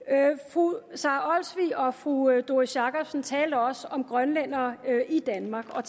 fru sara olsvig og fru doris jakobsen talte også om grønlændere i danmark og